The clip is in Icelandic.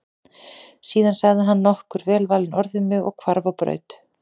Síðan sagði hann nokkur velvalin orð við mig og hvarf á braut.